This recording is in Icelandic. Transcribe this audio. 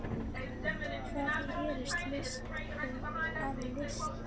Hvað gerir list að list?